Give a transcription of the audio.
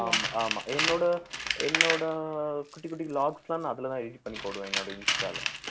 ஆமா ஆமா என்னோட என்னோட குட்டி குட்டி vlogs லாம் நான் அதுலதான் edit பண்ணி போடுவேன் என்னோட இன்ஸ்டால